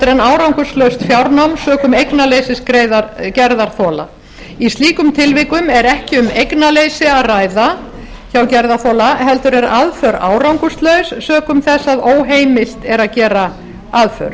en árangurslaust fjárnám sökum eignaleysis gerðarþola í slíkum tilvikum er ekki um eignaleysi að ræða hjá gerðarþola heldur er aðför árangurslaus sökum þess að óheimilt er að gera aðför